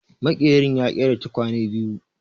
Maƙerin ya ƙera tukwanen biyu